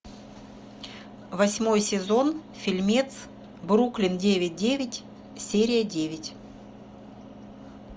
восьмой сезон фильмец бруклин девять девять серия девять